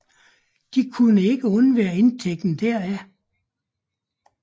De kunne ikke undvære indtægten deraf